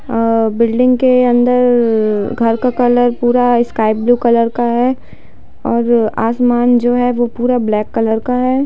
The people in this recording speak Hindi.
अ बिल्डिंग के अंदर घर का कलर पूरा स्काई ब्लू कलर का है और आसमान जो है वो पूरा ब्लैक कलर का है।